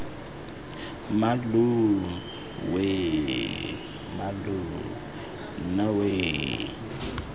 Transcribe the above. mmalooo weeee mmaloo nna weee